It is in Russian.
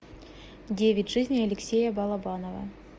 девять жизней алексея балабанова